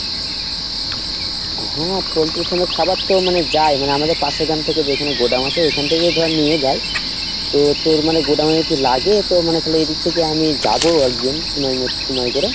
হ্যাঁ পোল্টির farm এর খাবার তো যাই মানে আমাদের পাশে গ্রাম থেকে যেখানে godown আছে ঐখানে থেকে ধর নিয়ে যাই তো তোর মানে godown এর এদিক থেকে আমি যাবো একদিন সময় সময় করে